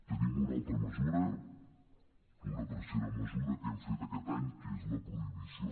tenim una altra mesura una tercera mesura que hem fet aquest any que és la prohibició